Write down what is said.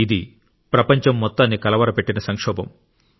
ఇది ప్రపంచం మొత్తాన్ని కలవరపెట్టిన సంక్షోభం